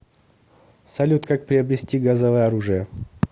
салют как приобрести газовое оружие